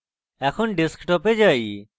এখন ডেস্কটপে যাই